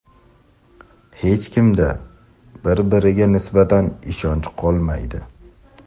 Hech kimda bir biriga nisbatan ishonch qolmaydi.